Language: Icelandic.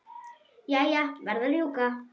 Jæja, verð að rjúka.